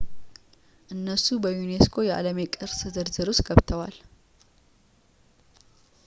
እነሱ በ ዩኔስኮ የዓለም ቅርስ ዝርዝር ውስጥ ገብተዋል